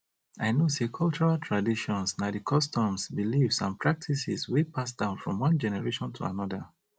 i know say cultural traditions na di customs beliefs and practices wey pass down from one generation to anoda